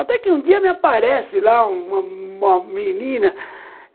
Até que um dia me aparece lá uma uma uma menina.